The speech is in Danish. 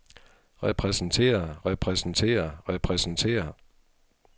repræsentere repræsentere repræsentere